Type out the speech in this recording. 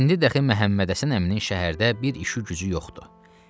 İndi dəxi Məhəmmədhəsən əminin şəhərdə bir işi-gücü yoxdu.